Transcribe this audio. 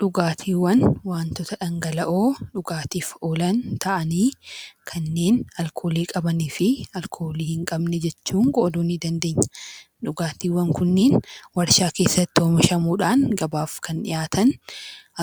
Dhugaatiiwwan wantoota dhangala'oo dhugaatiif oolan ta'anii kanneen alkoolii qabanii fi alkoolii hin qabne jechuun qooduu nii dandeenya. Dhugaatiiwwan kunneen warshaa keessatti oomishamuu dhaan gabaaf kan dhiyaatan